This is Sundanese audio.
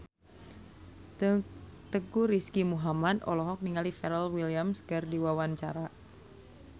Teuku Rizky Muhammad olohok ningali Pharrell Williams keur diwawancara